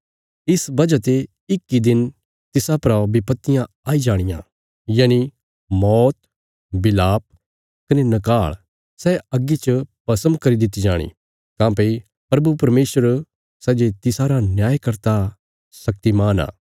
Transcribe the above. इस वजह ते इक इ दिन तिसा परा विपत्तियां आई जाणियां यनि मौत बिलाप कने नकाल़ सै अग्गी च भस्म करी दित्ति जाणी काँह्भई प्रभु परमेशर सै जे तिसारा न्यायकर्ता शक्तिमान आ